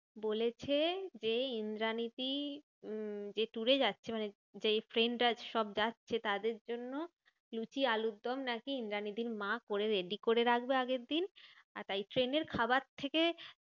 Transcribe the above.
বলেছে যে ইন্দ্রানীদি উম যে tour এ যাচ্ছে মানে যেই ট্রেনটায় সব যাচ্ছে, তাদের জন্য লুচি আলুর দম নাকি ইন্দ্রানীদির মা করে ready করে রাখবে আগের দিন। আহ তাই ট্রেনের খাবার থেকে